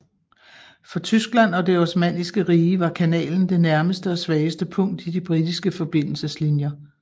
For Tyskland og det Osmanniske Rige var kanalen det nærmeste og svageste punkt i de britiske forbindelseslinjer